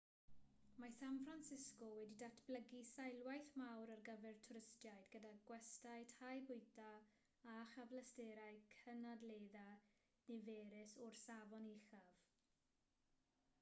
mae san francisco wedi datblygu seilwaith mawr ar gyfer twristiaid gyda gwestyau tai bwyta a chyfleusterau cynadledda niferus o'r safon uchaf